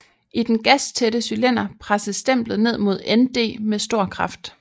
I den gastætte cylinder presses stemplet ned mod ND med stor kraft